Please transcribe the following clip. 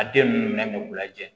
A den ninnu k'u lajɛ